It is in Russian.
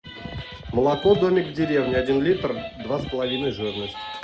молоко домик в деревне один литр два с половиной жирность